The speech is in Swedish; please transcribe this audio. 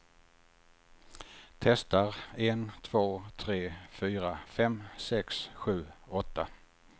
Testar en två tre fyra fem sex sju åtta.